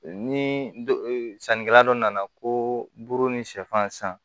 Ni sannikɛla dɔ nana ko buru ni sɛfan san